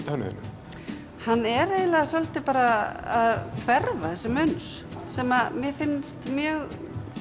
hann er eiginlega svolítið að hverfa þessi munur sem mér finnst mjög